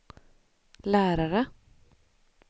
lärare